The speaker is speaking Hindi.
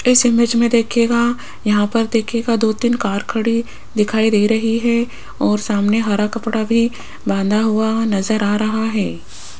इस इमेज में देखिएगा यहां पर देखिएगा दो तीन कार खड़ी दिखाई दे रही है और सामने हरा कपड़ा भी बांधा हुआ नजर आ रहा है।